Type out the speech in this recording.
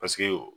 Paseke